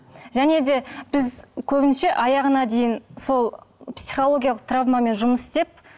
және де біз көбінше аяғына дейін сол психологиялық травмамен жұмыс істеп